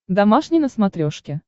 домашний на смотрешке